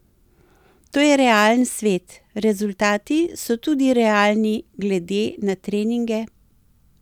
To je realen svet, rezultati so tudi realni glede na treninge.